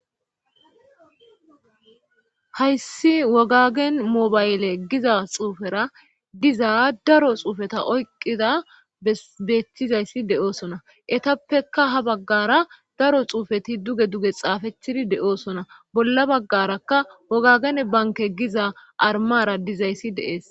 hayssi wogagen mobayle giza xuufera diza daro xuufeta oyqida beechchizayssi de7oosona etappeka ha baggara daro xuufeti duge duge xaafechidi de7oosona bolla baggaraka wogagen banke giza armara dizayssi deees